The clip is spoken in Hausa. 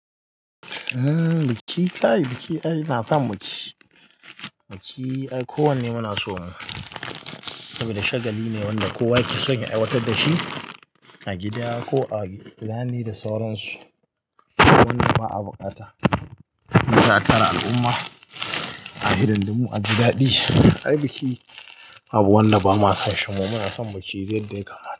Biki kai biki ai ina son biki. Biki ai kowanne muna so mu Saboda shagali ne wanda kowa yake son ya aiwatar dashi a gida ko a launi da sauransu. Wannan ma abokata, mu ka tara al'umma a hidan dimu aji daɗi. Ai biki babu wanda ba ma son shi mu suna son biki dai dai kamar.